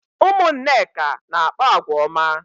Ụmụ Nneka na-akpa àgwà ọma